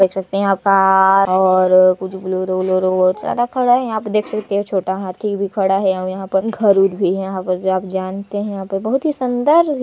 आप देख सकते है यह कार-उर कुछ बोलोरो -वोलोरो बहुत सारा खड़ा है यहाँ पर देख सकते है छोटा हाथी भी खड़ा है यहाँ पर घर -उर भी है यहाँ पर की आप जानते है यहाँ पर बहुत ही सुंदर --